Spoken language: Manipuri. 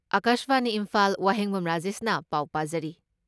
ꯑꯀꯥꯁꯕꯥꯅꯤ ꯏꯝꯐꯥꯜ ꯋꯥꯍꯦꯡꯕꯝ ꯔꯥꯖꯦꯁꯅ ꯄꯥꯎ ꯄꯥꯖꯔꯤ